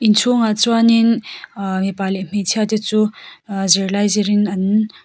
inchhungah chuan in ahh mipa leh hmeichhia te chu ahh zirlai zir in an--